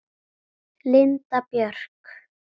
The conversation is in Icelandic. Linda Björk.